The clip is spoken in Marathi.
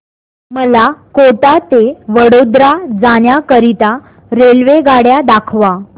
मला कोटा ते वडोदरा जाण्या करीता रेल्वेगाड्या दाखवा